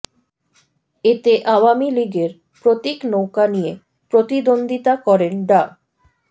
এতে আওয়ামী লীগের প্রতীক নৌকা নিয়ে প্রতিদ্বন্দ্বিতা করেন ডা